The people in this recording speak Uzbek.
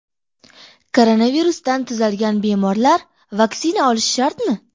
Koronavirusdan tuzalgan bemorlar vaksina olishi shartmi?